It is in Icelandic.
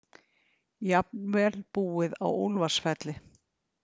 Jafnvel búið á Úlfarsfelli.